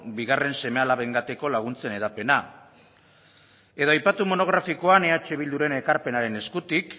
bigarren seme alabengatiko laguntzen hedapena edo aipatu monografikoan eh bilduren ekarpenaren eskutik